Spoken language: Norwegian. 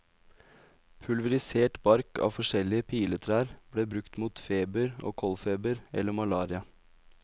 Pulverisert bark av forskjellige piletrær ble brukt mot feber og koldfeber eller malaria.